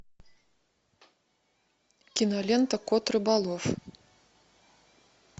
кинолента кот рыболов